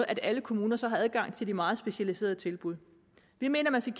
at alle kommuner så havde adgang til de meget specialiserede tilbud vi mener man skal